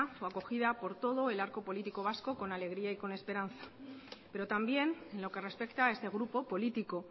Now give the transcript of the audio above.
fue acogida por todo el arco político vasco con alegría y con esperanza pero también en lo que respecta a este grupo político